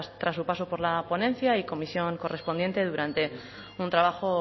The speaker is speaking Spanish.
tras su paso por la ponencia y comisión correspondiente durante un trabajo